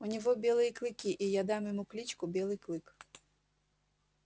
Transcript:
у него белые клыки и я дам ему кличку белый клык